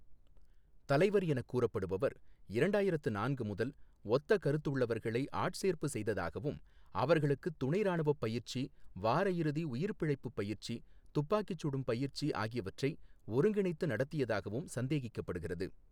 தலைவர் எனக் கூறப்படுபவர் இரண்டாயிரத்து நான்கு முதல் ஒத்த கருத்து உள்ளவர்களை ஆட்சேர்ப்பு செய்ததாகவும், அவர்களுக்குத் துணைராணுவப் பயிற்சி, வாரயிறுதி உயிர்பிழைப்புப் பயிற்சி, துப்பாக்கி சுடும் பயிற்சி ஆகியவற்றை ஒருங்கிணைத்து நடத்தியதாகவும் சந்தேகிக்கப்படுகிறது.